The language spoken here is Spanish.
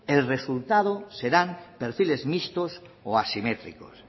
el resultado serán perfiles mixtos o asimétricos